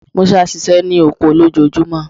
Musa ṣiṣẹ ni oko lojoojumọ